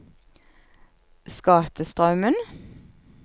Skatestraumen